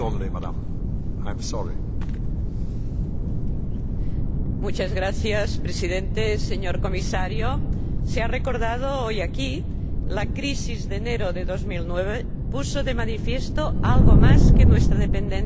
Señor Presidente, señor Comisario, se ha recordado hoy aquí que la crisis de enero de 2009 puso de manifiesto algo más que nuestra dependencia energética.